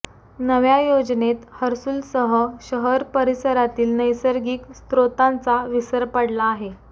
नव्या योजनेत हर्सूलसह शहर परिसरातील नैसर्गिक स्रोतांचा विसर पडला आहे